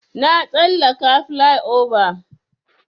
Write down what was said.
Na tsallaka plyova.